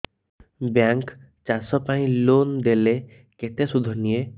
bank ଚାଷ ପାଇଁ loan ଦେଲେ କେତେ ସୁଧ ନିଏ